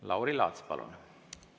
Lauri Laats, palun!